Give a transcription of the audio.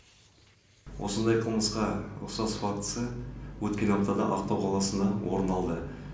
осындай қылмысқа ұқсас фактісі өткен аптада ақтау қаласында орын алды